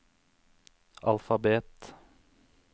alfabet